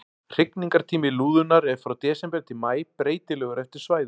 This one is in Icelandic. Hrygningartími lúðunnar er frá desember til maí, breytilegur eftir svæðum.